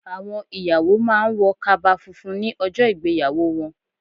Àwọn ìyàwó má a ń wọ kaba funfun ní ijọ́ ìgbéyàwó wọn